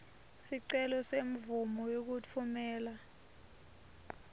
sicelo semvumo yekutfumela